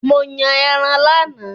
Mo yàn ẹran lánàá